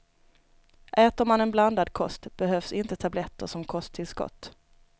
Äter man en blandad kost behövs inte tabletter som kosttillskott.